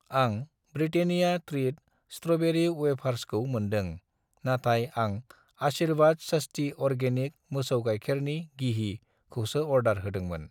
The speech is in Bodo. आं ब्रिटेनिया त्रिट स्ट्र'बेरि वेफार्स खौ मोनदों, नाथाय आं आशिर्वाद स्वस्ति अरगेनिक मोसौ गायखेरनि गिहि खौसो अर्डार होदोंमोन।